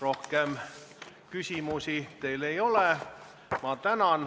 Rohkem küsimusi teile ei ole.